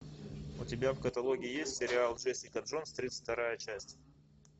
у тебя в каталоге есть сериал джессика джонс тридцать вторая часть